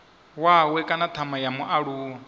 wawe kana thama ya mualuwa